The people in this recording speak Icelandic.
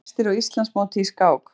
Eyjamenn efstir á Íslandsmóti í skák